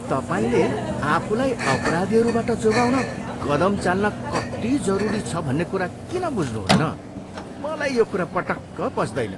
तपाईँले आफूलाई अपराधीहरूबाट जोगाउन कदम चाल्न कति जरुरी छ भन्ने कुरा किन बुझ्नुहुन्न? मलाई यो कुरा पटक्क पच्दैन।